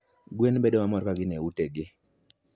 Gwen bedo mamor ka gin e utegi.